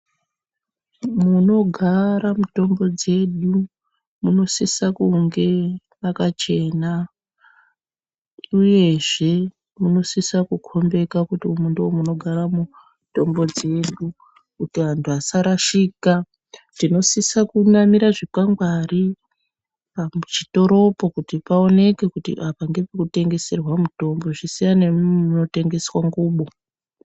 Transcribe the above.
Munogara mitombo dzedu munosise kunge makachena, uyezve munosisa kukombeka kuti umu ndomunogara mutombo dzedu. Kuti antu asarashika tinosisa kunamira zvikwangwari pachitoropo kuti paoneke kuti apa ngepekutengeserwa mitombo, zvisiyane nemumu munotengeswa ngubo.